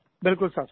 बिलकुल साहब